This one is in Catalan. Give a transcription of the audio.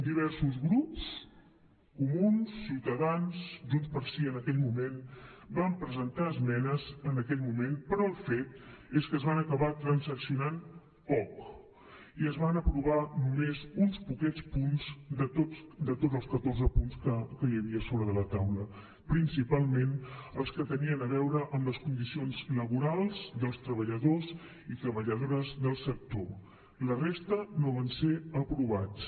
diversos grups comuns ciutadans junts pel sí en aquell moment vam presentar esmenes en aquell moment però el fet és que es van acabar transaccionant poc i es van aprovar només uns poquets punts de tots els catorze punts que hi havia a sobre de la taula principalment els que tenien a veure amb les condicions laborals dels treballadors i treballadores del sector la resta no van ser aprovats